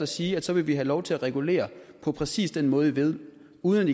sige og så vil vi have lov til at regulere på præcis den måde i ved uden